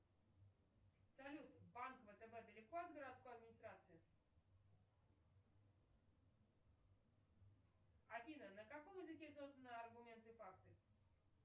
салют банк втб далеко от городской администрации афина на каком языке созданы аргументы и факты